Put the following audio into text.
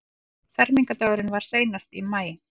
Fermingardagurinn var seinast í maí.